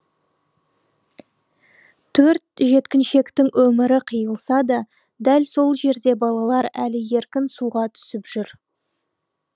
төрт жеткіншектің өмірі қиылса да дәл сол жерде балалар әлі еркін суға түсіп жүр